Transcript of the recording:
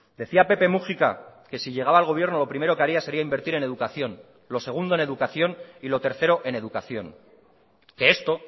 decía pepe múgica que si llegaba al gobierno lo primero que haría sería invertir en educación lo segundo en educación y lo tercero en educación que esto